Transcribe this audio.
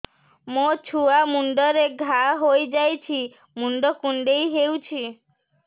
ମୋ ଛୁଆ ମୁଣ୍ଡରେ ଘାଆ ହୋଇଯାଇଛି ମୁଣ୍ଡ କୁଣ୍ଡେଇ ହେଉଛି